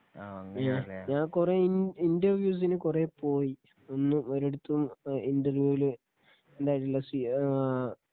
ഞാൻ കുറെ ഇൻ ഇന്റർവ്യൂസിനു കുറെ പോയ് ഒന്നുമൊരിടത്തും ഇന്റർവ്യൂവില് ഉണ്ടായിട്ടില്ല സി ആ